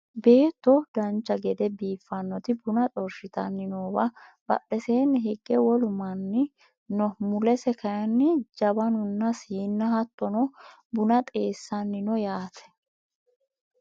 beetto dancha gede biiffannoti buna xorshitanni noowa badheseenni hige wolu manni no mulese kayeenni jawanunna siinna hattono buna xeessanni no yaate